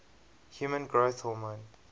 human growth hormone